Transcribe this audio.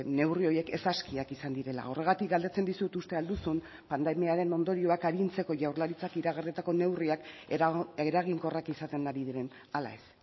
neurri horiek ez askiak izan direla horregatik galdetzen dizut uste al duzun pandemiaren ondorioak arintzeko jaurlaritzak iragarritako neurriak eraginkorrak izaten ari diren ala ez